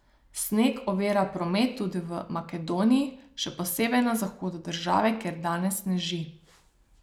Sneg ovira promet tudi v Makedoniji, še posebej na zahodu države, kjer danes sneži.